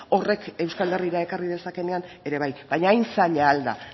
horrek euskal herrira ekar dezakeenean ere bai baina hain zaila al da